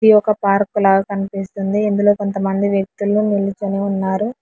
ఇది ఒక పార్కు లాగా కనిపిస్తుంది ఇందులో కొంతమంది వ్యక్తులు నిల్చొని ఉన్నారు.